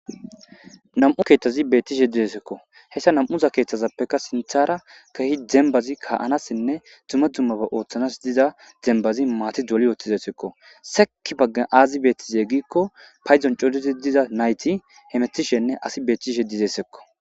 Nam'u keeththazi beettishe dizesekko hessa nam7uza keeththazappekka sinthara kehi dembazi kaanassinne dzumma dzummaba ooththanas diza dembazi maati dzoli yootizessekko sek baggan aazi beettize giikko payzon codizi diza nayti hemetishenne asi beettishe dizesekko